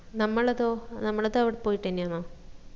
നമ്മളതൊ നമ്മളത് അവിടെ പോയിട്ടെന്നെ ആന്നോ?